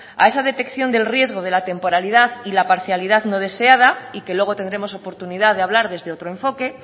a esa detección del riesgo de la temporalidad y la parcialidad no deseada y que luego tendremos oportunidad de hablar desde otro enfoque